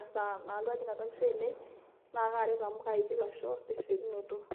esaa nalotu ajing' atua nkishu ainei, na karet amu kaiki lasho tesiokinoto.